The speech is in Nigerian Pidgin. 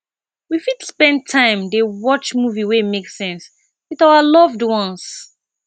we fit spend time dey watch movie wey make sense with our loved ones